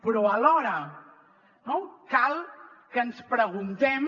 però alhora no cal que ens preguntem